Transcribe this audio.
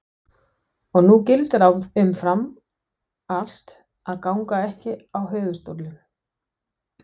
Og nú gildir umfram allt að ganga ekki á höfuðstólinn.